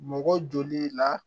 Mɔgɔ joli la